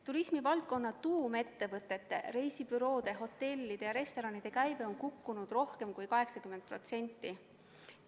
Turismivaldkonna tuumettevõtete – reisibüroode, hotellide ja restoranide – käive on kukkunud rohkem kui 80%.